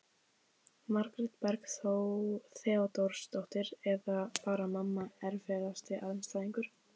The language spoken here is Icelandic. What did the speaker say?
Margrét Berg Theodórsdóttir eða bara mamma Erfiðasti andstæðingur?